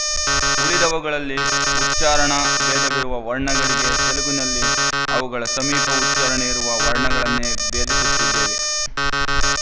ಉಳಿದವುಗಳಲ್ಲಿ ಉಚ್ಚಾರಣಾಭೇದವಿರುವ ವರ್ಣಗಳಿಗೆ ತೆಲುಗಿನಲ್ಲಿ ಅವುಗಳ ಸಮೀಪ ಉಚ್ಚಾರಣೆಯಿರುವ ವರ್ಣಗಳನ್ನೇ ಭೇದಿಸುತ್ತಿದ್ದೇವೆ